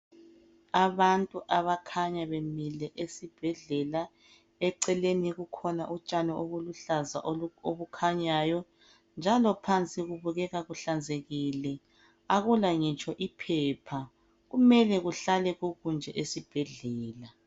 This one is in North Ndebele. Abantu abakhanya bemile esibhedlela eceleni kukhona utshani obuluhlaza obukhanyayo njalo phansi kubukeka kuhlanzekile akula ngitsho iphepha, kumele kuhlale kunje esibhedlela.